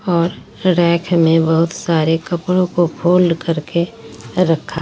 और रैक में बहुत सारे कपड़ों को फोल्ड करके रखा--